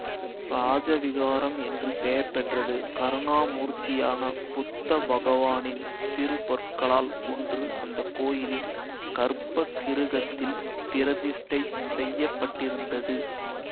இராஜ விஹாரம் என்று பெயர் பெற்றது கருணாமூர்த்தியான புத்த பகவானின் திருப் பற்களால் ஒன்று அந்த கோயிலின் கர்ப்ப கிருஹத்தில் பிரதிஷ்டை செய்ய பட்டிருந்தது